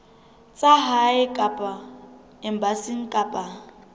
tsa lehae kapa embasing kapa